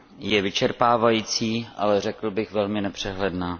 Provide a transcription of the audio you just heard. je vyčerpávající, ale řekl bych velmi nepřehledná.